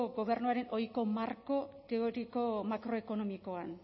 gobernuaren ohiko marko teoriko makroekonomikoan